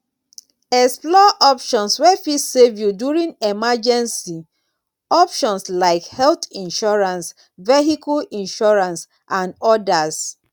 explore options wey fit save you during emergency options like health insurance vehicle insurance and odas